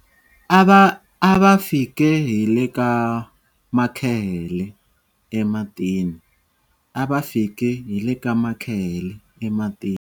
A va fike hi le ka makhehele ematini. A va fike hi le ka makhehele ematini.